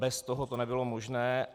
Bez toho to nebylo možné.